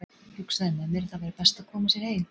Hugsaði með mér að það væri best að koma sér heim.